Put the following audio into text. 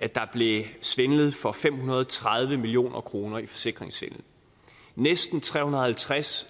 at der blev svindlet for fem hundrede og tredive million kroner i forsikringssvindel næsten tre hundrede og halvtreds